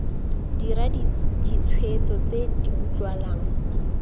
dira ditshwetso tse di utlwalang